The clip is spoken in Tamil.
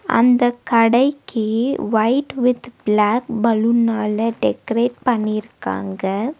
அந்த கடைக்கி ஒயிட் வித் பிளாக் பலூன்னால டெக்கரெட் பன்னிருக்காங்க.